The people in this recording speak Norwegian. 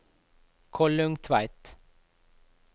Kollungtveit